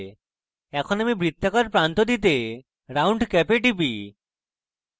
এখন আমি বৃত্তাকার প্রান্ত দিতে round cap a টিপি